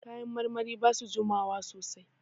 Kayan marmari ba su jima wa sosai.